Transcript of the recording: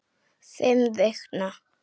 Fimm vikna.